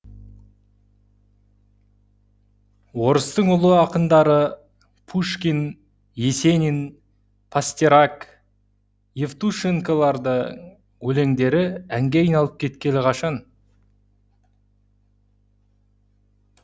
орыстың ұлы ақындары пушкин есенин евтушенколардың өлеңдері әнге айналып кеткелі қашан